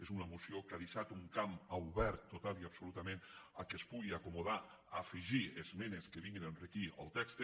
és una moció que ha deixat un camp obert totalment i absolutament per·què es pugui acomodar a afegir esmenes que vinguin a enriquir el text